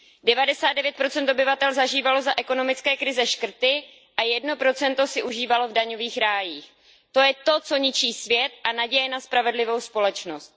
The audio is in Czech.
Devadesát devět procent obyvatel zažívalo za ekonomické krize škrty a jedno procento si užívalo v daňových rájích. To je to, co ničí svět a naději na spravedlivou společnost.